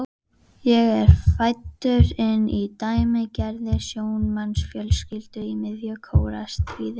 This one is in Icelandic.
Ég er fæddur inn í dæmigerða sjómannsfjölskyldu í miðju Kóreustríði.